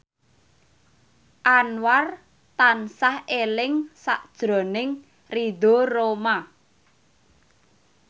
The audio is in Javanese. Anwar tansah eling sakjroning Ridho Roma